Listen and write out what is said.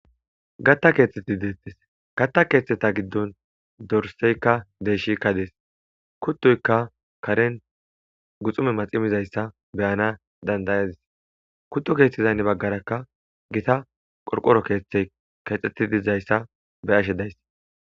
Gatta keeththetti deettes gatta keeththeta giddon dorseykka deeshikka dees kuttoyka karen guxume maximizayssa beyana dandayadis kuddo keeththizaynne baggarakka gita qorqoro keeththey keexxeti dizayssa be ashe days.